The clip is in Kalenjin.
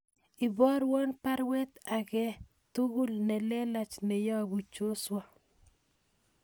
Iborwon baruet age tugul nelelach neyobu Joshua